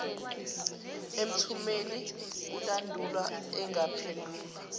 emthumeni kulandulwa engaphendulwa